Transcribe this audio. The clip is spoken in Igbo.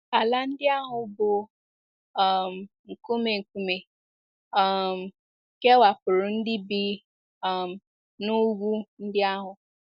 Ala ndị ahụ bụ́ um nkume nkume um kewapụrụ ndị bi um n’ugwu ndị ahụ.